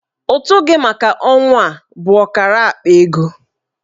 Ụtụ gị maka ọnwa a bụ ọkara akpa ego.